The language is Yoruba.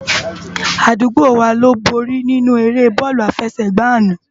Adúgbò wá ló bóri ninú éré bòlú àfésègbá àná